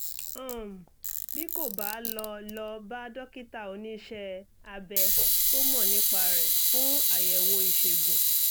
um bí kò bá lọ lọ bá dókítà oníṣẹ́-abẹ tó mọ̀ nípa rẹ̀ fún àyẹ̀wò ìṣègùn